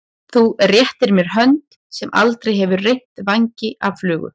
Þú réttir mér hönd sem aldrei hefur reytt vængi af flugu.